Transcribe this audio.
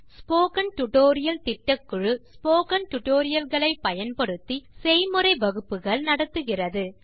spoken tutorial திட்டக்குழு spoken tutorial களை பயன்படுத்தி செய்முறை வகுப்புகள் நடத்துகிறது